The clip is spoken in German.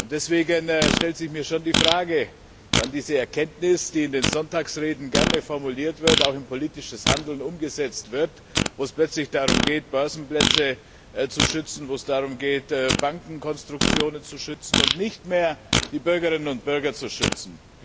Deswegen stellt sich mir schon die Frage, wann diese Erkenntnis, die in den Sonntagsreden gerne formuliert wird, auch in politisches Handeln umgesetzt wird, wo es plötzlich darum geht, Börsenplätze zu schützen, wo es darum geht, Bankenkonstruktionen zu schützen, und nicht mehr darum, die Bürgerinnen und Bürger zu schützen.